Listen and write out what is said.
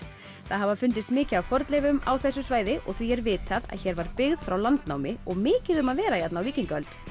það hafa fundist mikið af fornleifum á þessu svæði og því er vitað að hér var byggð frá landnámi og mikið um að vera hérna á víkingaöld